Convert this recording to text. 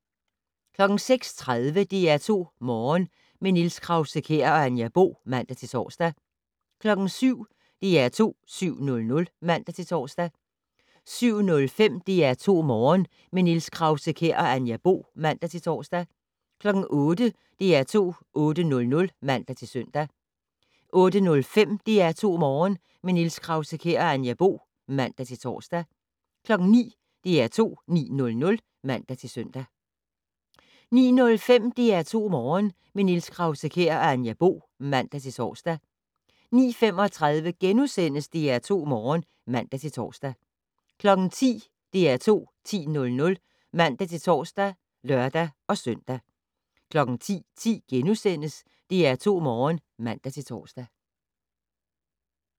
06:30: DR2 Morgen - med Niels Krause-Kjær og Anja Bo (man-tor) 07:00: DR2 7:00 (man-tor) 07:05: DR2 Morgen - med Niels Krause-Kjær og Anja Bo (man-tor) 08:00: DR2 8:00 (man-søn) 08:05: DR2 Morgen - med Niels Krause-Kjær og Anja Bo (man-tor) 09:00: DR2 9:00 (man-søn) 09:05: DR2 Morgen - med Niels Krause-Kjær og Anja Bo (man-tor) 09:35: DR2 Morgen *(man-tor) 10:00: DR2 10:00 (man-tor og lør-søn) 10:10: DR2 Morgen *(man-tor)